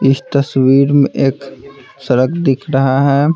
इस तस्वीर में एक सड़क दिख रहा है।